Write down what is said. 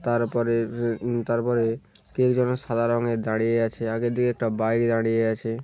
তারপরের উমম তারপরে কে যেন সাদা রঙের দাঁড়িয়ে আছে আগে দিকে একটা বাইরে দাঁড়িয়ে আছে।